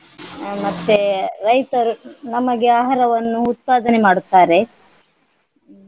ಹ್ಮ್ ಮತ್ತೆ ರೈತರು ನಮಗೆ ಆಹಾರವನ್ನು ಉತ್ಪಾದನೆ ಮಾಡುತ್ತಾರೆ.